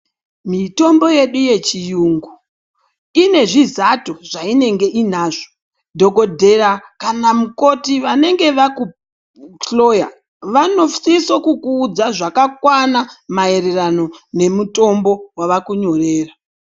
Mitombo yedu yechiyungu inezvizato zvayinenge inazvo ,dhogodhera kana mukoti vanenge vakuhloya ,vanosise kukudza zvakakwana maererano nemutombo wavakunyorera